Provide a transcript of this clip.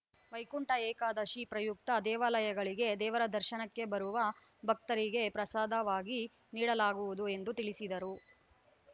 ವೈಕುಂಠ ಏಕಾದಶಿ ಪ್ರಯುಕ್ತ ದೇವಾಲಯಗಳಿಗೆ ದೇವರ ದರ್ಶನಕ್ಕೆ ಬರುವ ಭಕ್ತರಿಗೆ ಪ್ರಸಾದವಾಗಿ ನೀಡಲಾಗುವುದು ಎಂದು ತಿಳಿಸಿದರು